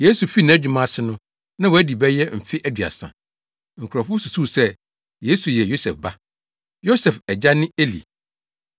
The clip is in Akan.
Yesu fii nʼadwuma ase no, na wadi bɛyɛ mfe aduasa. Nkurɔfo susuw sɛ, Yesu yɛ Yosef ba. Yosef agya ne Eli.